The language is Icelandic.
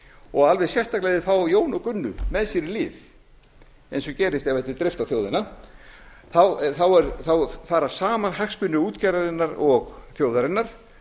og alveg sérstaklega ef þeir fá jón og gunnu með sér í lið eins og gerist ef þessu er dreift á þjóðina þá fara saman hagsmunir útgerðarinnar og þjóðarinnar